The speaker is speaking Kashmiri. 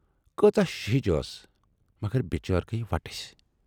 کۭژاہ شِہِچ ٲس مگر بِچٲرۍ گٔیہِ ؤٹسۍ۔